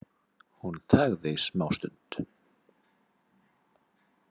Hún þagði smástund.